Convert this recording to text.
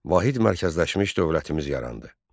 Vahid mərkəzləşmiş dövlətimiz yarandı.